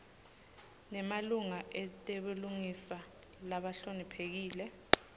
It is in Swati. nemalunga etebulungiswa lahloniphekile